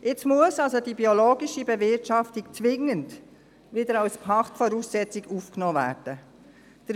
Jetzt muss die biologische Bewirtschaftung also wieder zwingend als Pachtvoraussetzung aufgenommen werden.